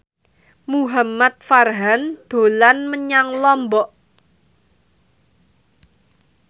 Muhamad Farhan dolan menyang Lombok